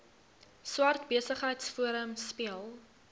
swart besigheidsforum speel